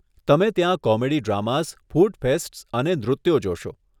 તમે ત્યાં comedy dramas, food fests અને નૃત્યો જોશો.